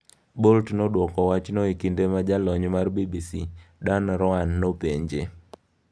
Bolt nodwoko wachno e kinde ma jalony mar BBC, Dan Roan, nopenje.